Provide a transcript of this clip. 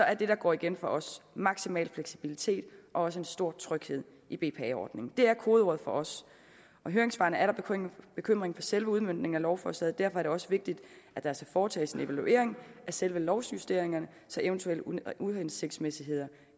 er det der går igen for os maksimal fleksibilitet og også en stor tryghed i bpa ordningen det er kodeordene for os og i høringssvarene er der bekymring for selve udmøntningen af lovforslaget derfor er det også vigtigt at der foretages en evaluering af selve lovjusteringerne så eventuelle uhensigtsmæssigheder